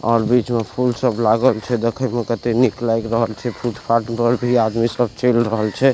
और बीच में फूल सब लागल छै देखे में कते नीक लाग रहल छै फुटफाट घर भी उधर आदमी सब चल रहल छै |